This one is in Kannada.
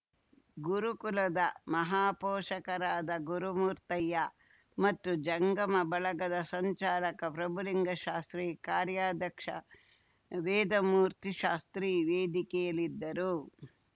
ಗುರುಕುಲದ ಮಹಾಪೋಷಕರಾದ ಗುರುಮೂರ್ತಯ್ಯ ಮತ್ತು ಜಂಗಮಬಳಗದ ಸಂಚಾಲಕ ಪ್ರಭುಲಿಂಗಶಾಸ್ತ್ರಿ ಕಾರ‍್ಯದಕ್ಷ ವೇದಮೂರ್ತಿಶಾಸ್ತ್ರಿ ವೇದಿಕೆಯಲ್ಲಿದ್ದರು